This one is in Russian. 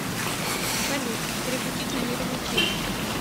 салют переключить на мир увлечений